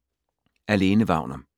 Af Lene Wagner